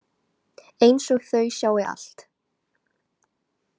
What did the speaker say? Einsog þau sjái allt.